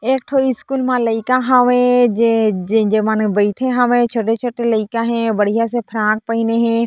एक ठो स्कूल म लइका हावे जे मन बइठे हवे छोटे-छोटे लेका हवय बढ़िया से फराक पहिने हे।